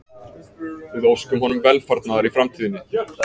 Við óskum honum velfarnaðar í framtíðinni